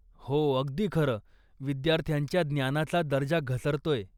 हो, अगदी खरं, विद्यार्थ्यांच्या ज्ञानाचा दर्जा घसरतोय.